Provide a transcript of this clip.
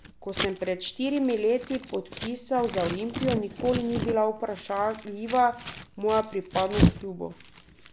Ko sem pred štirimi leti podpisal za Olimpijo, nikoli ni bila vprašljiva moja pripadnost klubu.